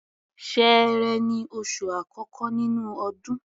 Ṣẹẹrẹ ni oṣù àkọ́kọ́ nínú ọdún.